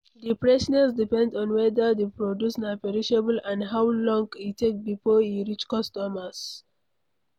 The freshness depend on weda di produce na perishable and how long e take before e reach customers